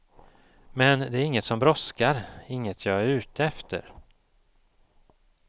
Men det är inget som brådskar, inget jag är ute efter.